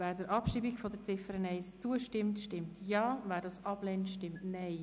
Wer die Ziffer 1 abschreiben will, stimmt Ja, wer dies ablehnt, stimmt Nein.